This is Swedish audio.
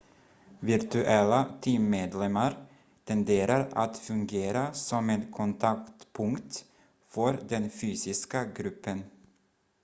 virtuella teammedlemmar tenderar att fungera som en kontaktpunkt för den fysiska gruppen